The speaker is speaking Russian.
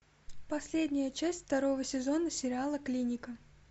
последняя часть второго сезона сериала клиника